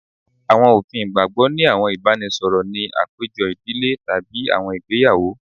Awọn ofin igbagbogbo ni awọn ibaraẹnisọrọ ni apejọ idile tabi awọn igbeyawo